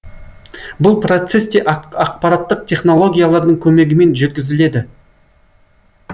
бұл процесс те ақпараттық технологиялардың көмегімен жүргізіледі